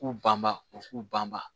K'u banba u k'u banba